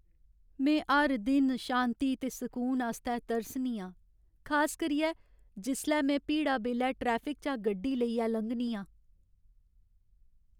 में हर दिन शांति ते सकून आस्तै तरसनी आं, खास करियै जिसलै में भीड़ा बेल्लै ट्रैफिक चा गड्डी लेइयै लंघनी आं।